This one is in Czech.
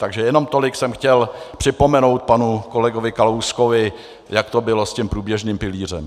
Takže jenom tolik jsem chtěl připomenout panu kolegovi Kalouskovi, jak to bylo s tím průběžným pilířem.